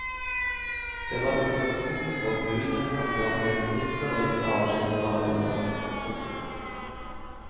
Det var utgangspunktet for budet han ga sine disipler i sin avskjedstale til dem. punktum